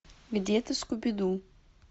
где ты скуби ду